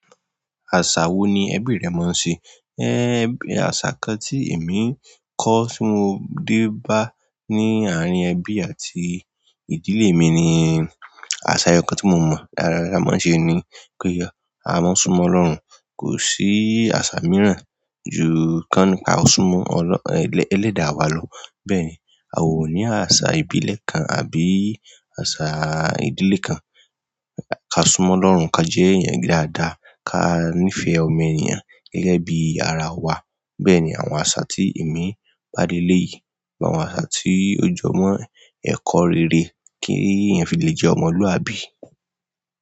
Àṣà wo ni ẹbí rẹ máa ń ṣe? Bí àṣà kan tí èmi kọ́ tí mo dé bá ní àárín ẹbí àti ìdílé mi ni, àṣà ẹyọkan tí mo mọ̀ dáadáa lára wọn ṣe ni pé a máa ń súnmọ́ Ọlọ́run. Kò sí àṣà mìíràn ju kán ní ká o súnmọ́ Ọlọ́-- ẹlẹ́dáa wa lọ. Bẹ́ẹ̀ni, a ò ní àṣà ìbílẹ̀ kan àbí àṣà ìdílé kan. Ka súnmọ́ Ọlọ́run, ka jẹ́ èèyàn dáadáa, ka nífẹ̀ẹ́ ọmọ èèyàn gẹ́gẹ́ bí ara wa. Bẹ́ẹ̀ni, àwọn àṣà tí èmi bá leléyìí. Gbogbo àwọn àṣà tí ó jọ mọ́ ẹ̀kọ́ rere kí èèyàn fi lè jẹ́ ọmọlúàbí.